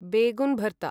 बेगुन् भर्ता